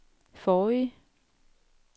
forrige